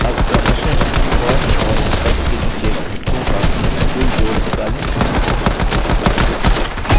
अब क्रमशः cost और spent के नीचे घटकों का कुल जोड़ निकालें